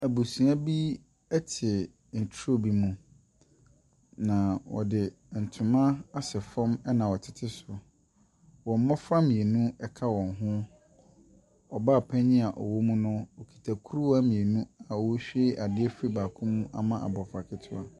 Abusua bi ɛte nturo bi mu. Na wɔde ntoma asɛ fɔm ɛna wɔtete so. Wɔn mmofra mienu ɛka wɔn ho. Ɔbaa panyin a ɔwɔ mu no okita kuruwa mienu a ohwie ade afi baako mu ama abɔfra ketewa.